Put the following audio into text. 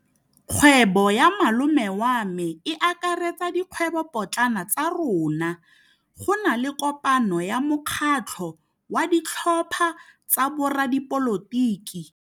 Kgwêbô ya malome wa me e akaretsa dikgwêbôpotlana tsa rona. Go na le kopanô ya mokgatlhô wa ditlhopha tsa boradipolotiki.